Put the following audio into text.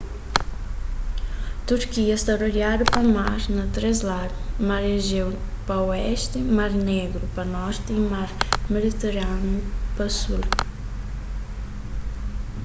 turkia sta rodiadu pa mar na três ladu mar ejéu pa oesti mar négru pa norti y mar mediterániu pa sul